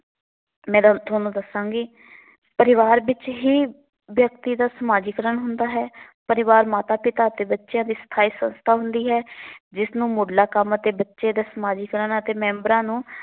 Madam ਤੁਹਾਨੂੰ ਦੱਸਾਂਗੀ ਪਰਿਵਾਰ ਵਿਚ ਹੀ ਵਿਅਕਤੀ ਦਾ ਸਮਾਜੀਕਰਨ ਹੁੰਦਾ ਹੈ। ਪਰਿਵਾਰ ਮਾਤਾ, ਪਿਤਾ ਅਤੇ ਬੱਚਿਆਂ ਦੀ ਸਥਾਈ ਸੰਸਥਾ ਹੁੰਦੀ ਹੈ। ਜਿਸ ਨੂੰ ਮੁਢਲਾ ਕੰਮ ਅਤੇ ਬੱਚੇ ਦੇ ਸਮਾਜੀਕਰਨ ਅਤੇ ਮੈਂਬਰਾਂ ਨੂੰ